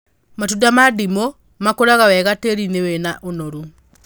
Matunda ma ndimũ makũraga wega tĩĩri-inĩ wĩna ũnoru